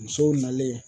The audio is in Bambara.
Musow nalen